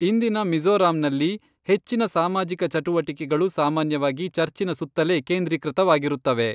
ಇಂದಿನ ಮಿಜೋ಼ರಂನಲ್ಲಿ, ಹೆಚ್ಚಿನ ಸಾಮಾಜಿಕ ಚಟುವಟಿಕೆಗಳು ಸಾಮಾನ್ಯವಾಗಿ ಚರ್ಚಿನ ಸುತ್ತಲೇ ಕೇಂದ್ರೀಕೃತವಾಗಿರುತ್ತವೆ.